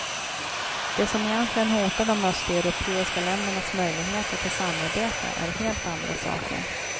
Det som egentligen hotar de östeuropeiska ländernas möjligheter till samarbete är helt andra saker.